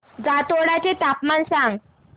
जातोडा चे तापमान सांग